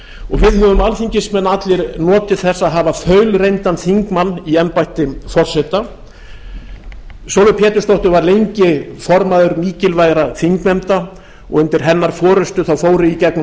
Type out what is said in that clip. við höfum alþingismenn allir notið þess að hafa þaulreyndan þingmann í embætti forseta sólveig pétursdóttir var lengi formaður mikilvægra þingnefnda og undir hennar forustu fóru í gegnum